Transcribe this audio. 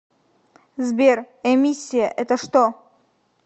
сбер эмиссия это что